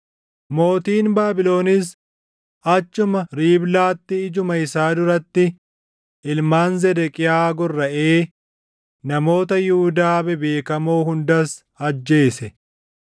Mootiin Baabilonis achuma Riiblaatti ijuma isaa duratti ilmaan Zedeqiyaa gorraʼee namoota Yihuudaa bebeekamoo hundas ajjeese.